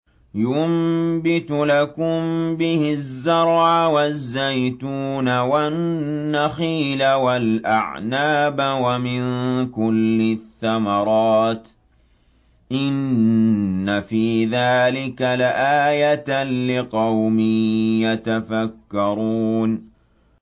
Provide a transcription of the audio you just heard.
يُنبِتُ لَكُم بِهِ الزَّرْعَ وَالزَّيْتُونَ وَالنَّخِيلَ وَالْأَعْنَابَ وَمِن كُلِّ الثَّمَرَاتِ ۗ إِنَّ فِي ذَٰلِكَ لَآيَةً لِّقَوْمٍ يَتَفَكَّرُونَ